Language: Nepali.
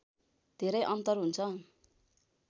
धेरै अन्तर हुन्छ